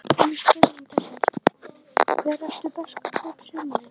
Önnur spurning dagsins: Hver eru bestu kaup sumarsins?